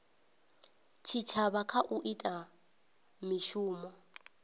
tshitshavha kha u ita mishumo